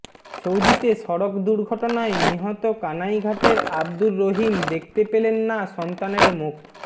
সৌদিতে সড়ক দুর্ঘটনায় নিহত কানাইঘাটের আব্দুর রহিম দেখতে পেলেন না সন্তানের মুখ